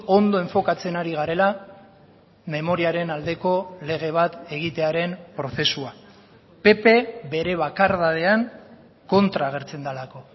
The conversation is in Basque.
ondo enfokatzen ari garela memoriaren aldeko lege bat egitearen prozesua pp bere bakardadean kontra agertzen delako